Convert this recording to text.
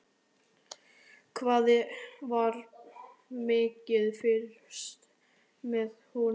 Hvað var mikið fylgst með honum?